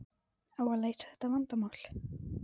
Á að leysa þetta vandamál?